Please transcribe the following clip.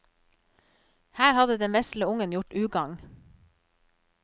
Her hadde den vesle ungen gjort ugagn.